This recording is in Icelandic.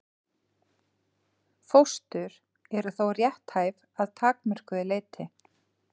Fóstur eru þó rétthæf að takmörkuðu leyti.